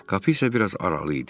Qapı isə bir az aralı idi.